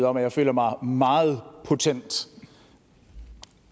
om at jeg føler mig meget potent